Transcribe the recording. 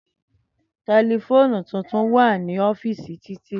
Tẹlifoonu tuntun wa ni ọ́fììsì Titi.